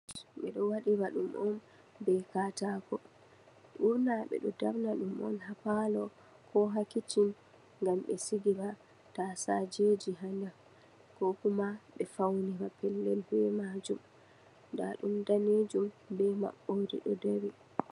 Ɓedo waɗira ɗum on be katako. Ɓurna ɓe ɗo darna ɗum on ha palo ko ha kicin, ngam ɓe sigira tasaje ha nder, ko kuma ɓe faunira pellel be maajum, nda ɗum daneejum be maɓɓode ɗo dari.